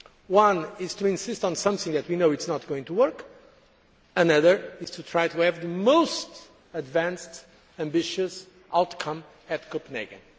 One is to insist on something that we know is not going to work, another is to try to have the most advanced and ambitious outcome at Copenhagen.